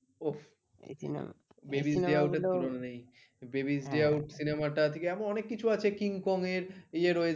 babies the out cinema টা এরকম অনেক কিছু আছে king king এর ইয়ে রয়েছে